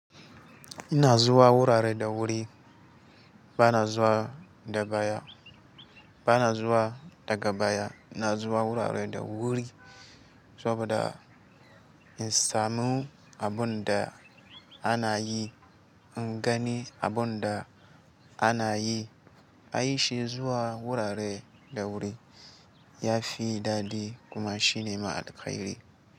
Ina zuwa wurare da wuri, ba na zuwa da baya, ba na zuwa daga baya. Ina zuwa wurare da wuri saboda in samu abin da ana yi, in gani abin da ana yi. Ai shi zuwa wurare da wuri ya fi daɗi kuma shine ma alkairi.